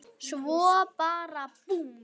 Svo bara búmm.